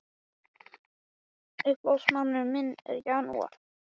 Hvað finnst honum um þessar hugmyndir?